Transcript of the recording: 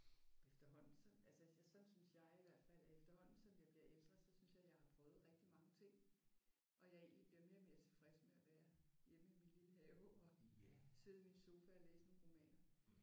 Efterhånden så altså sådan synes jeg i hvert fald at efterhånden som jeg bliver ældre så synes jeg jeg har prøvet rigtig mange ting og jeg egentlig bliver mere og mere tilfreds med at være hjemme i min lille have og sidde i min sofa og læse en roman